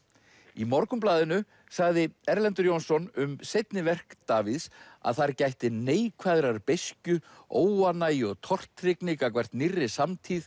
í Morgunblaðinu sagði Erlendur Jónsson um seinni verk Davíðs að þar gætti neikvæðrar beiskju óánægju og tortryggni gagnvart nýrri samtíð